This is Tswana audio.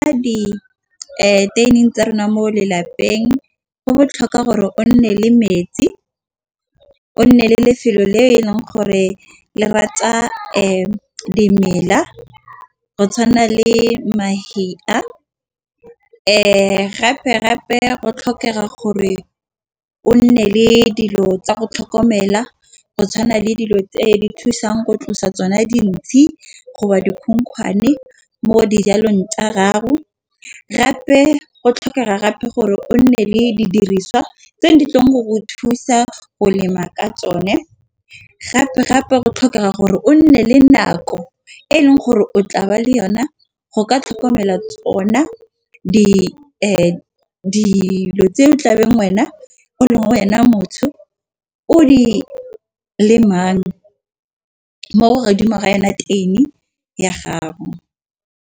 Deteining tsa rona mo lelapeng go botlhokwa gore go nne le metsi. O nne le lefelo le e leng gore le rata dimela go tshwana le mahea gape gape go tlhokega gore o nne le dilo tsa go tlhokomela go tshwana le dilo tse di thusang go tlosa tsona dintsi go ba dikhukhwane mo dijalong tsa gago. Gape go tlhokega gape gore o nne le di diriswa tse di tlileng go go thusa go lema ka tsone. Gape gape go tlhokega gore o nne le nako e leng gore o tlabe le yone go ka tlhokomela ona di dilo tse o tlabeng wena o leng wena motho o di lemang mo godimo ga yona teini ya gago.